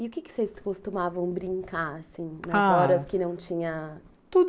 E o que vocês costumavam brincar assim nas horas que não tinha, ah... tudo.